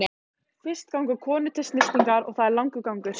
Fyrst ganga konur til snyrtingar og það er langur gangur.